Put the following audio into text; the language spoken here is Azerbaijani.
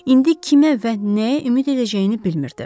İndi kimə və nəyə ümid edəcəyini bilmirdi.